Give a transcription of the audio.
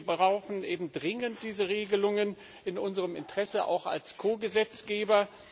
Und wir brauchen eben dringend diese Regelungen, auch in unserem Interesse als Ko Gesetzgeber.